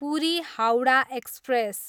Puri, Howrah express